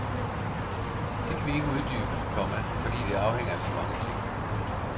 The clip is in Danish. Det kan vi ikke uddybe, komma fordi det afhænger af så mange ting. punktum